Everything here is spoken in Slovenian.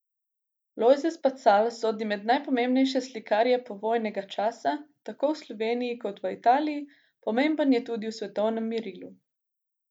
Lojze Spacal sodi med najpomembnejše slikarje povojnega časa tako v Sloveniji kot v Italiji, pomemben je tudi v svetovnem merilu.